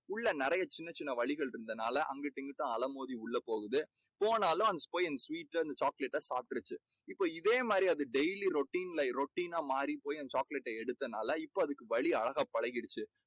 உள்ள நிறைய சின்ன சின்ன வழிகள் இருந்தனால அங்கிட்டும், இங்கிட்டும் அலை மோதி உள்ள போகுது. போனாலும் அங்க போய் அந்த chocolate ட பாத்துருச்சு. இப்போ இதே மாதிரி அது daily routine routine னா மாறிப் போயி அந்த chocolate ட எடுக்கறதனால இப்போ அதுக்கு வழி அழகா பழக்கிடுச்சு.